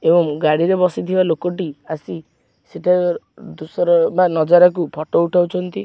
ଏବଂ ଗାଡି଼ରେ ବସିଥିବା ଲୋକଟି ଆସି ସେଠାକାର ଦୁସର ବା ନଜାରାକୁ ଫଟ ଉଠଉଚନ୍ତି।